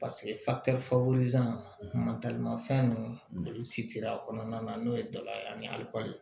fɛn ninnu si tɛ a kɔnɔna na n'o ye daba ye ani